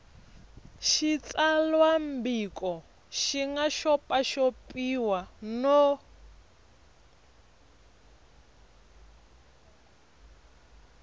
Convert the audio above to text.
xitsalwambiko xi nga xopaxopiwa no